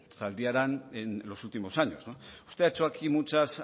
zaldiaran en los últimos años usted ha hecho aquí muchas